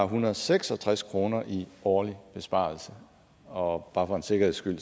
hundrede og seks og tres kroner i årlig besparelse og bare for en sikkerheds skyld